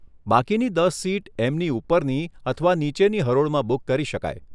બાકીની દસ સીટ એમની ઉપરની અથવા નીચેની હરોળમાં બુક કરી શકાય.